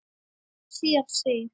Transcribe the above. Síðan segir